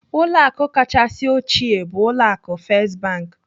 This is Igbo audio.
Ụlọ akụ kachasị ochie bụ ụlọ akụ First Bank.